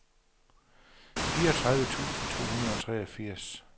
fireogtredive tusind to hundrede og treogfirs